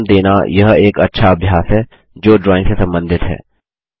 नाम देना यह एक अच्छा अभ्यास है जो ड्राइंग से संबंधित है